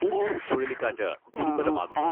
ഉം.പുൻ ചുഴലിക്കാറ്റ് ദുർബലമാകുന്നു.